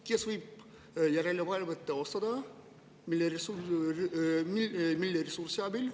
Kes võiks seda järelevalvet teostada ja millise ressursi abil?